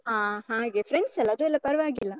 ಹಾ ಹಾಗೆ, friends ಅಲ್ಲ, ಅದೆಲ್ಲ ಪರ್ವಾಗಿಲ್ಲ.